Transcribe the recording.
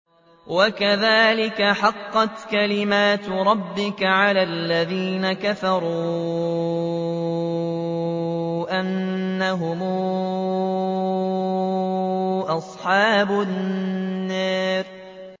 وَكَذَٰلِكَ حَقَّتْ كَلِمَتُ رَبِّكَ عَلَى الَّذِينَ كَفَرُوا أَنَّهُمْ أَصْحَابُ النَّارِ